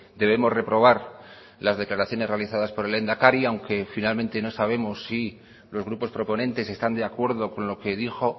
debemos reprobar las declaraciones realizadas por el lehendakari aunque finalmente no sabemos si los grupos proponentes están de acuerdo con lo que dijo